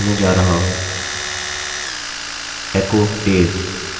अबआप पाते हैं कि यह काम नहीं करता है